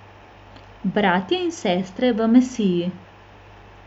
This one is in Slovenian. Bratje in sestre v Mesiji!